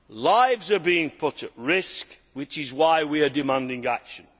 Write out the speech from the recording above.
Lives are being put at risk, which is why we are demanding action.